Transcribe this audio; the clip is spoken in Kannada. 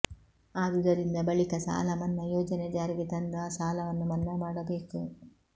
ಆದುದರಿಂದ ಬಳಿಕ ಸಾಲ ಮನ್ನಾ ಯೋಜನೆ ಜಾರಿಗೆ ತಂದು ಆ ಸಾಲವನ್ನು ಮನ್ನಾ ಮಾಡಬೇಕು